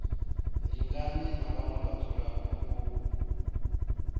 lingane na vhaṋwe vhadzulapo u